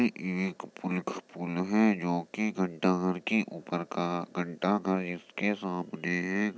एक पुल्ख पुल है जो कि घंटा घर करके ऊपर का घंटा घर इसके सामने है।